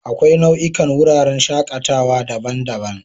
Akwai nau'ikan wuraren shakatawa daban-daban.